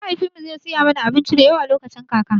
Mahaifin mu zai saya mana abinci da yawa lokacin kaka